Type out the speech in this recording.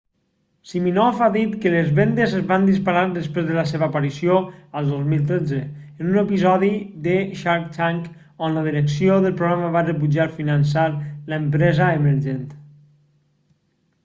siminoff ha dit que les vendes es van disparar després de la seva aparició el 2013 en un episodi de shark tank on la direcció del programa va rebutjar finançar l'empresa emergent